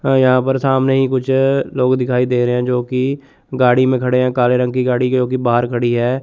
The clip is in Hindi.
यहां पर सामने ही कुछ लोग दिखाई दे रहे हैं जो की गाड़ी में खड़े हैं काले रंग की गाड़ी जोकि बाहर खड़ी है।